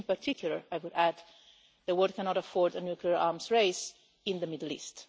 In particular, I would add, the world cannot afford a nuclear arms race in the Middle East.